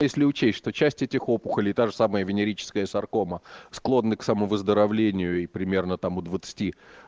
если учесть что часть этих опухолей та же самая венерическая саркома склонны к сомувыздоровлению и примерно там у двадцати